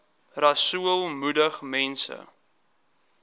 rasool moedig mense